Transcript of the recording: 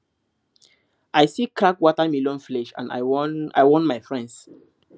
i see cracked watermelon flesh and i warn i warn my friends